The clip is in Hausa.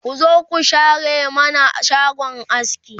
ku zo ku share mana shagon askin